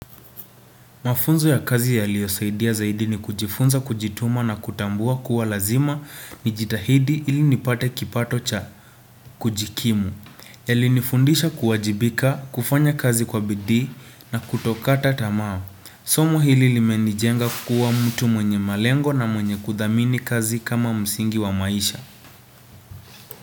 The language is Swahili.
Mafunzo ya kazi yaliyo saidia zaidi ni kujifunza, kujituma na kutambua kuwa lazima ni jitahidi ili nipate kipato cha kujikimu. Yali nifundisha kuwajibika, kufanya kazi kwa bidii na kutokata tamaa. Somo hili limenijenga kuwa mtu mwenye malengo na mwenye kuthamini kazi kama msingi wa maisha.